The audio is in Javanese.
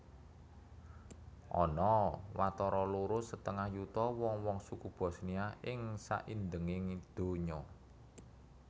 Ana watara loro setengah yuta wong wong suku Bosnia ing saindhenging donya